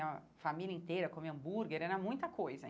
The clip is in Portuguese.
E a família inteira comer hambúrguer, era muita coisa.